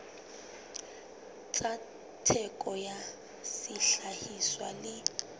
tsa theko ya sehlahiswa le